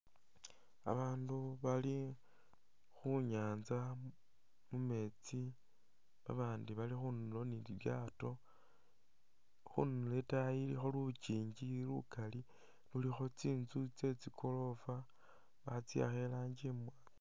Babaandu bali khunyanza mumeetsi babandi bali khundulo ni lilyaato khundulo itaayi ilikho lukingi lukali lulikho tsinzu tse tsi goroofa batsiwakha irangi imwa